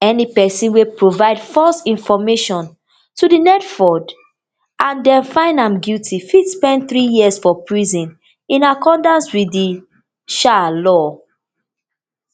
any pesin wey provide false information to di nelfund and dem find am guilty fit spend three years for prison in accordance wit di um law